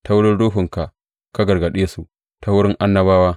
Ta wurin Ruhunka ka gargaɗe su ta wurin annabawa.